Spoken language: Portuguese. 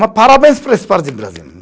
Mas parabéns para esse parte de Brasil.